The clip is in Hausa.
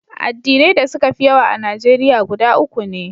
Addinai da suka fi yawa a Najeriya guda uku ne.